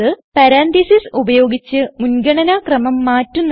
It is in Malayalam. പരാൻതീസിസ് ഉപയോഗിച്ച് മുൻഗണന ക്രമം മാറ്റുന്നത്